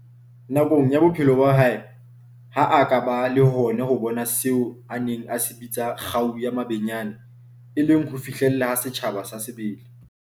Nakong ya bophelo ba hae, ha a ka a ba le hona ho bona seo a neng a se bitsa 'kgau ya mabenyane', e leng ho fihlelleha ha setjhaba sa sebele.